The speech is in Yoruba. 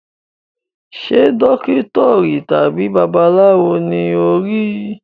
Ṣe dókítà tàbí babaláwo ni o n ri?